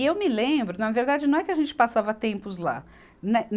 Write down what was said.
E eu me lembro, na verdade, não é que a gente passava tempos lá. né